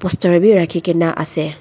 poster bhi rakhikena ase.